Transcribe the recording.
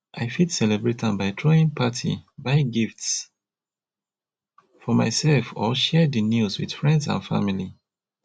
i fit celebrate am by throwing party buy gifts for myself or share di news with friends and family